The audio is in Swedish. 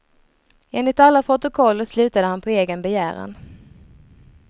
Enligt alla protokoll slutade han på egen begäran.